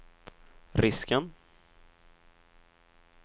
risken